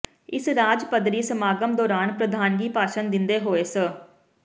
ਇਸ ਰਾਜ ਪੱਧਰੀ ਸਮਾਗਮ ਦੌਰਾਨ ਪ੍ਰਧਾਨਗੀ ਭਾਸ਼ਣ ਦਿੰਦੇ ਹੋਏ ਸ